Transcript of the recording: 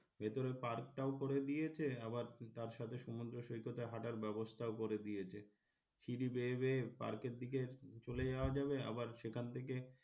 ভেতরে park টাও করে দিয়েছে আবার তার সাথে সমুদ্র সৈকতে হাঁটার ব্যবস্থাও করে দিয়েছে সিঁড়ি বেয়ে বেয়ে park এর দিকে চলে যাওয়া যাবে আবার সেখান থেকে,